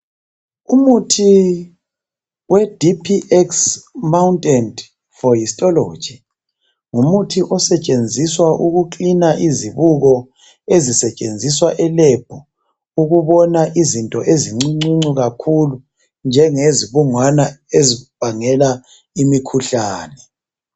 Umuthi weDiphi ekisi mawuntenti fohistoloji ngumuthi osetshenziswa ukuklina izibuko ezisetshenziswa elebhu ukubona izinto ezincuncu kakhulu njengezibungwana ezibangela imikhuhlane.